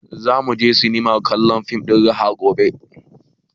Za mu sinema kallon fim ɗin raha gobe